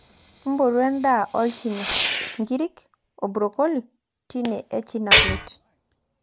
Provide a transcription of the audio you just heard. potu edaa olchina nkirik oo brocoill tine e china plate